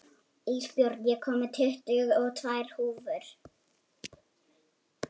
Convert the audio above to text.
Ísbjörn, ég kom með tuttugu og tvær húfur!